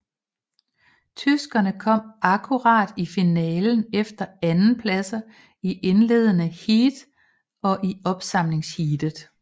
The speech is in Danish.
Tyskerne kom akkurat i finalen efter andenpladser i indledende heat og i opsamlingsheatet